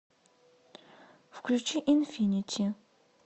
включи инфинити